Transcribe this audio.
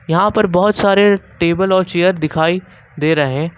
यहां पर बहोत सारे टेबल और चेयर दिखाई दे रहे।